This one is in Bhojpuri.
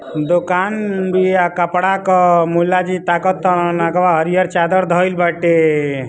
दोकान बिया कपड़ा क मुल्ला जी ताक तान अगवा हरियर चादर धईल बाटे।